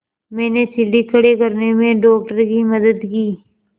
मैंने सीढ़ी खड़े करने में डॉक्टर की मदद की